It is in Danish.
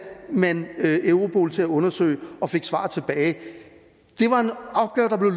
man europol til at undersøge det og fik svar tilbage